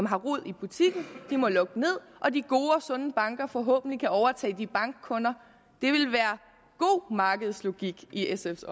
har rod i butikken må lukke ned og at de gode og sunde banker forhåbentlig kan overtage deres bankkunder det ville være god markedslogik i sfs